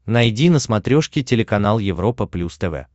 найди на смотрешке телеканал европа плюс тв